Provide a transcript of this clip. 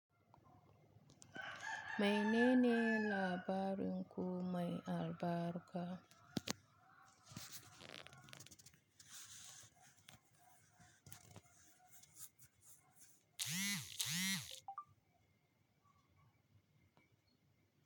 Mai nene labarin ku mai albarka.